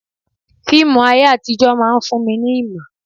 Fíìmù ayé àtijó máa ń fún ni ní ìmọ̀.